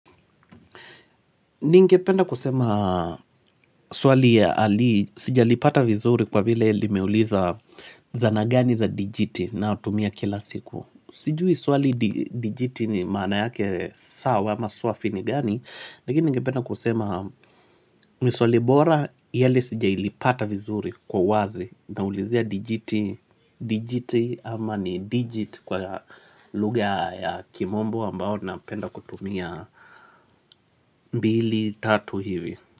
Ningependa kusema swali ya ali sijalipata vizuri kwa vile limeuliza zana gani za dijiti nayotumia kila siku. Sijui swali dijiti ni maana yake sawa ama swafi ni gani. Lakini ningependa kusema ni swali bora yale sijailipata vizuri kwa uwazi naulizia dijiti. Dijiti ama ni digit kwa lugha ya kimombo ambayo napenda kutumia mbili tatu hivi.